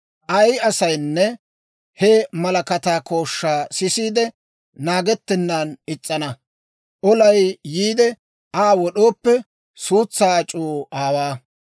ay asaynne he malakataa kooshshaa sisiide, naagettennan is's'ina, olay yiide Aa wod'ooppe, suutsaa ac'uu aawaa.